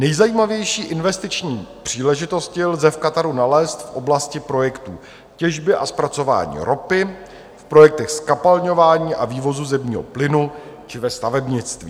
Nejzajímavější investiční příležitosti lze v Kataru nalézt v oblasti projektů těžby a zpracování ropy, v projektech zkapalňování a vývozu zemního plynu či ve stavebnictví.